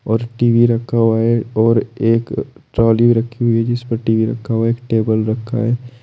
और टी_वी रखा हुआ है और एक ट्राली रखी हुई है जिस पे टी_वी रखा हुआ एक टेबल रखा है।